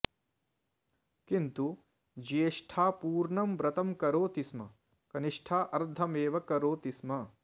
किन्तु ज्येष्टा पूर्णं व्रतं करोति स्म कनिष्ठा अर्धमेव करोति स्म